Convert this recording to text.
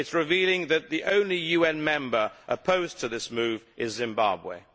It is revealing that the only UN member opposed to this move is Zimbabwe.